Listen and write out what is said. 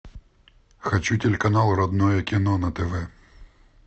хочу телеканал родное кино на тв